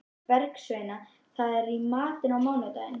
Bergsveina, hvað er í matinn á mánudaginn?